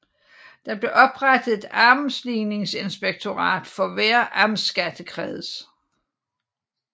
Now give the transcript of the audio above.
Der blev oprettet et amtsligningsinspektorat for hver amtsskattekreds